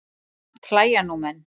Samt hlæja nú menn.